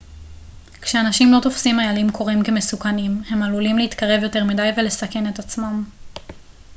כשאנשים לא תופסים איילים קוראים כמסוכנים הם עלולים להתקרב יותר מדי ולסכן את עצמם